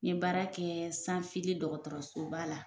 N ye baara kɛ dɔgɔtɔrɔsoba la